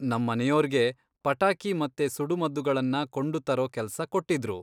ನಮ್ಮನೆಯೋರ್ಗೆ ಪಟಾಕಿ ಮತ್ತೆ ಸುಡುಮದ್ದುಗಳನ್ನ ಕೊಂಡುತರೋ ಕೆಲಸ ಕೊಟ್ಟಿದ್ರು.